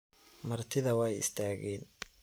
Martidha wai istagen.